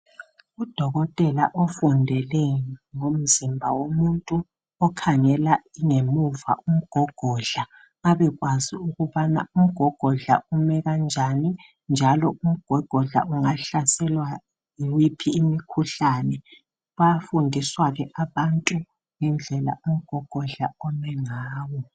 Udokotela ofundele ngomzimba womuntu ,okhangela ingemuva umgogodla . Babekwazi ukubana umgogodla ume kanjani. Njalo umgogodla ungahlaselwa yiphi imikhuhlane . Bayafundiswa ke abantu ngendlela umgogodla ome ngayo.